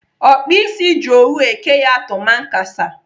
Ọkpa ịsị ji owu eke ya tumankasa.